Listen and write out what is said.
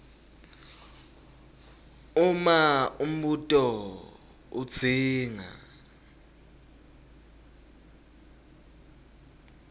uma umbuto udzinga